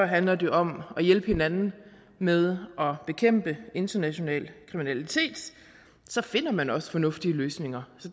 handler det om at hjælpe hinanden med at bekæmpe international kriminalitet finder man også fornuftige løsninger